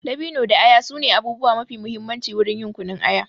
Dabino da aya su ne abubuwa mafi mahimmanci wurin yin kunun aya.